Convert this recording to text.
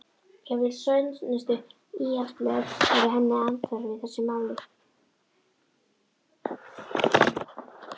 Jafnvel svæsnustu íhaldsblöð væru henni andhverf í þessu máli.